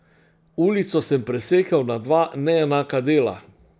Ulico sem presekal na dva neenaka dela.